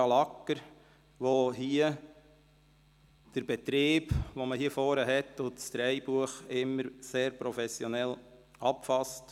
Sandra Lagger danke ich für die Unterstützung beim Betrieb hier vorne und für das Drehbuch, das sie immer sehr professionell verfasst hat.